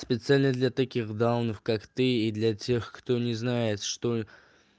специально для таких даунов как ты и для тех кто незнает что